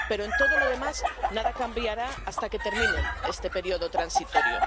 Pero en todo lo demás nada cambiará hasta que termine este periodo transitorio.